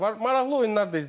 Maraqlı oyunlar da izlədik.